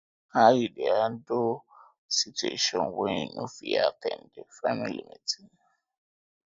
how you dey handle handle situation when you no fit at ten d family event